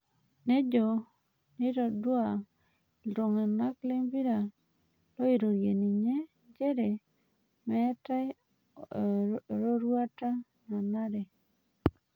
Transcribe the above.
Nejo netodua ilaing'uranak lempira loiroorie ninye njere meitai eroruata nanare.